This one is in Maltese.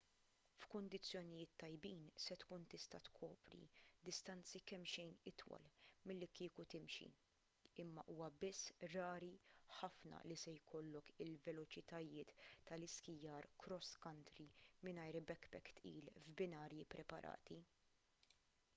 f'kundizzjonijiet tajbin se tkun tista' tkopri distanzi kemmxejn itwal milli kieku timxi imma huwa biss rari ħafna li se jkollok il-veloċitajiet tal-iskijar cross country mingħajr backpack tqil f'binarji ppreparati